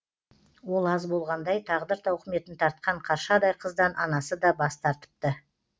ол аз болғандай тағдыр тауқыметін тартқан қаршадай қыздан анасы да бас тартыпты